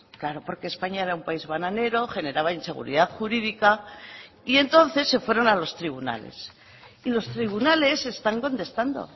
claro porque españa era un país bananero generaba inseguridad jurídica y entonces se fueron a los tribunales y los tribunales están contestando